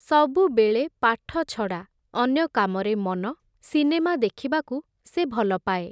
ସବୁବେଳେ ପାଠ ଛଡ଼ା, ଅନ୍ୟ କାମରେ ମନ, ସିନେମା ଦେଖିବାକୁ ସେ ଭଲପାଏ ।